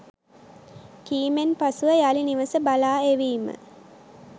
කීමෙන් පසුව යළි නිවස බලා එවීම